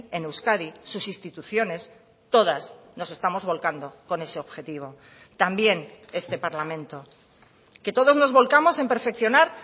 en euskadi sus instituciones todas nos estamos volcando con ese objetivo también este parlamento que todos nos volcamos en perfeccionar